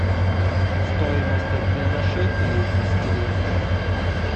стоимость обмена шекелей в москве